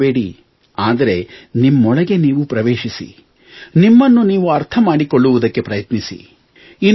ಹೊರಗೆ ಬರಬೇಡಿ ಆದರೆ ನಿಮ್ಮೊಳಗೆ ನೀವು ಪ್ರವೇಶಿಸಿ ನಿಮ್ಮನ್ನು ನೀವು ಅರ್ಥ ಮಾಡಿಕೊಳ್ಳುವುದಕ್ಕೆ ಪ್ರಯತ್ನಿಸಿ